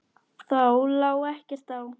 Þá lá ekkert á.